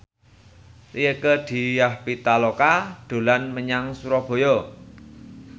Rieke Diah Pitaloka dolan menyang Surabaya